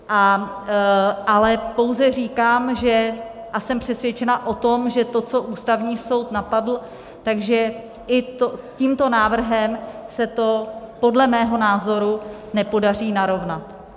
Ale pouze říkám a jsem přesvědčena o tom, že to, co Ústavní soud napadl, tak že i tímto návrhem se to podle mého názoru nepodaří narovnat.